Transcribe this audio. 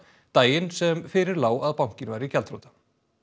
daginn sem fyrir lá að bankinn væri gjaldþrota